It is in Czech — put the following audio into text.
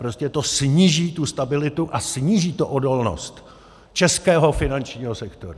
Prostě to sníží tu stabilitu a sníží to odolnost českého finančního sektoru.